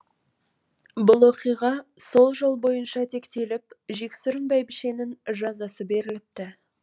бұл оқиға сол жол бойынша тектеліп жексұрын бәйбішенің жазасы беріліпті